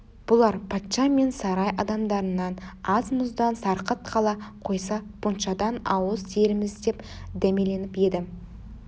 бұлар патша мен сарай адамдарынан аз-мұздан сарқыт қала қойса пуншадан ауыз тиерміз деп дәмеленіп еді